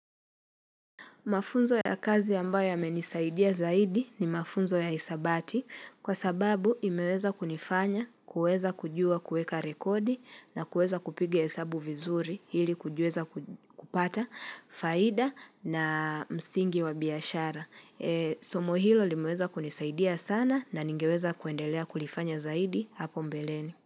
Mafunzo ya kazi ambayo yamenisaidia zaidi ni mafunzo ya hisabati kwa sababu imeweza kunifanya, kuweza kujua kueka rekodi na kueza kupiga hesabu vizuri hili kujuweza kupata faida na msingi wa biashara. Somo hilo limueza kunisaidia sana na ningeweza kuendelea kulifanya zaidi hapo mbeleni.